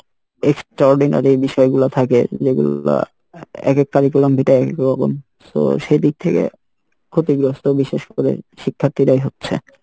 extraordinary বিষয় গুলা থাকে যেগুলা এক এক curriculum vitae এ এক এক রকম so সেই দিক থেকে ক্ষতিগ্রস্থ বিশেষ করে শিক্ষার্থীরাই হচ্ছে